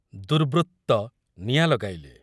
ଦୁର୍ବୃତ୍ତ ନିଆଁ ଲଗାଇଲେ